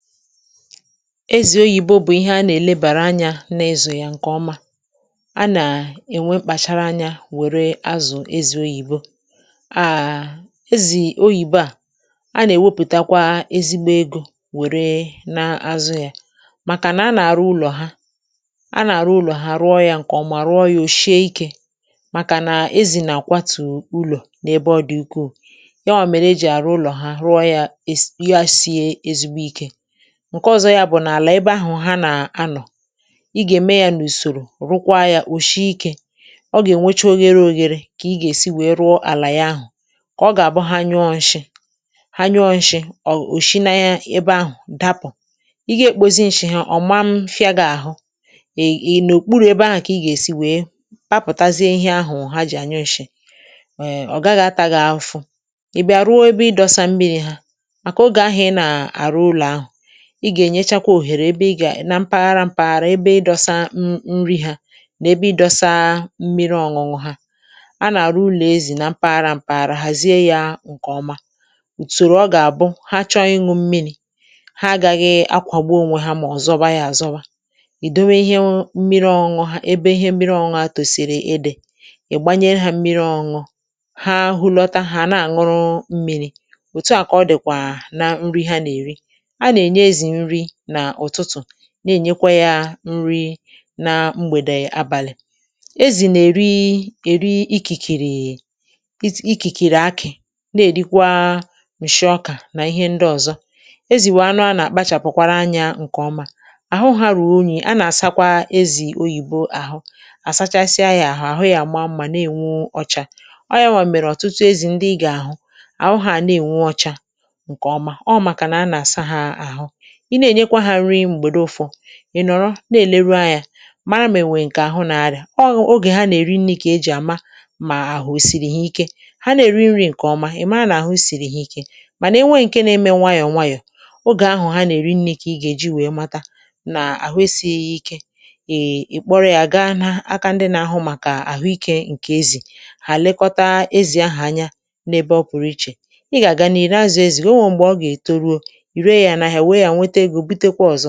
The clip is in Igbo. "Ezì oyìbo bụ̀ ihe a nà-èlebàrà anyȧ na-izụ ya ǹkè ọma. A nà-ènwe mkpàchara anyȧ wère azụ̀ ezi oyìbo. Áà ezì oyìbo à a nà-èwepụ̀takwa ezigbo egȯ wère na à azụ ya, màkà nà a nà-àrụ ụlọ̀ ha a nà-àrụ ụlọ̀ ha rụọ ya ǹkè ọ̀mà; rụọ ya ò shịe ikė màkà nà ezì nà-àkwatù ụlọ̀ n’ebe ọ dị ukwuù; ya ọ̀ mèrè e jì àrụ ụlọ̀ ha rụọ ya ya sie ezigbo ikė. Ṅke ọ̀zọ ya bụ̀ nà àlà ebe ahụ̀ ha nà-anọ̀, ị gà-ème ya n’ùsòrò rụkwa ya òshiikė;ọ gà-ènwecha oghere oghere kà ị gà-èsi wèe rụọ àlà ya ahụ̀ kà ọ gà-àbụ ha nyụọ nshị ha nyụọ nshị̇ ọ̀ òshi nȧ ya ebe ahụ̀ dapụ̀; ị gà-ekpozi nshị ha ọ̀ ma mfịa gị ahụ̇, ì ị nà òkpuru ebe ahụ̀ kà ị gà-èsi wèe papùtazie ihe ahụ̀ ha jì ànyụ nshị̇; ee ọ̀ gaghị̇ ataga afụfụ. ị̀ bịa ruo ebe ị dọsa mmiri ha, màkà oge ahụ ị nà àrụ ụlọ̀ ahụ̀, ị gà-ènyechakwa òhèrè ebe ị gà na mpaghara mpaghara ebe ị dọsa m nri hȧ, nà ebe ị dọsaa mmiri ọṅụṅụ ha;a nà-àrụ ulo ezì na mpaghara mpaghara hàzie ya ǹkè ọma; ùtòrò ọ gà-àbụ ha chọọ ịṅụ̇ mmiri̇ ha agaghị akwàgbu ònwe ha mà ọ̀ zọba yȧ àzọba; ìdowe ihe mmiri ọṅụṅụ ha ebe ihe mmiri ọṅụṅụ ha tòsìrì ị́dị̀, ị̀ gbanyere ha mmiri ọṅụṅụ, ha hu lọta ha a na-àṅụrụ mmiri̇. Òtu à kà ọ dị̀kwà na nri ha nà-èri;a na-enye ezi nri na ụtụtụ, na-ènyekwa yȧ nri na mgbèdè abàlị̀. Ezì nà-èri èri ikìkìrì ikìkìrì akì, na-èrikwa ǹshị ọkà nà ihe ndị ọzọ. Ezì wụ anụ a nà-àkpachàpụ̀kwara anyȧ ǹkè ọma àhụ; ahụ hȧ ru̇ru unyị a nà-àsakwa ezì oyìbo àhụ, àsachasịa yȧ àhụ àhụ yȧ àma mmȧ na-ènwu ọcha; ọ yȧwà mèrè ọ̀tụtụ ezì ndị ị gà-àhụ àhụ hà àna-ènwu ọcha ǹkè ọma; ọ màkà na-anà sa hȧ àhụ. Ị na-ènye kwa ha nri mgbedụ̀ ufọ ị̀ nọ̀rọ na-èleru anyȧ, mara ma-enwèrè ǹkè àhụ na-arịa. Ọ ogè ha nà-èri nri̇ kà ejì àma mà àhụ osìrì ha ike; ha nà-èri nri̇ ǹkèọma ị̀ mara nà-àhụ sìrì ha Ike, mànà enwee ǹke na-eme nwayọ̀ nwayọ̀, ogè ahụ̀ ha nà-èri nri̇ ka ị gà-èji wee mata nà àhụ esị ya ịke. Ị́ i kpọrọ yȧ gaa na aka ndị nȧ-ahụ màkà àhụ ikė ǹkè ezì; hà ẹ̀lekọta ezì ahụ̀ anya n’ebe ọ pụ̀rụ ị́che. Ị́ gà-àga n’ìhu nà-azụ̀ ezì gị̀, o nwèe m̀gbè ọ gà-ètoruo, ị́re yà na ahịa were ya nwete ego bụ́te kwa ọzọ. "